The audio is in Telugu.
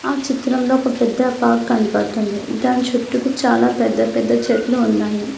ఆ చిత్రంలో ఒక పెద్ద పార్క్ కనపడుతుంది దాని చుట్టూరు చాలా పెద్ద పెద్ద చెట్లు ఉన్నాయి.